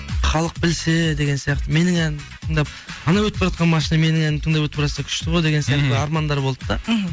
халық білсе деген сияқты менің әнімді тыңдап анау өтіп баратқан машина менің әнімді тыңдап өтіп баратса күшті ғой деген сияқты армандар болды да мхм